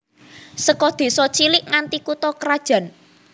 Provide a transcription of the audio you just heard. Saka désa cilik nganti kutha krajan